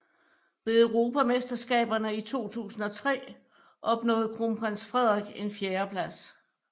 Ved Europamesterskaberne i 2003 opnåede Kronprins Frederik en fjerdeplads